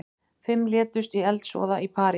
Fimm létust í eldsvoða í París